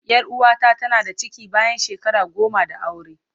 Yar uwata tana da ciki bayan shekara goma da aure.